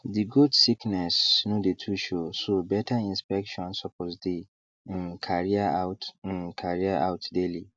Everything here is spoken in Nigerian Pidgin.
the goats sickness no dey too show so better inspection suppose dey um carrier out um carrier out daily